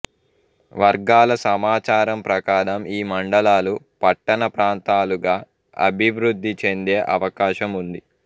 వర్గాల సమాచారం ప్రకారం ఈ మండలాలు పట్టణ ప్రాంతాలుగా అభివృద్ధి చెందే అవకాశం ఉంది